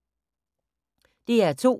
DR2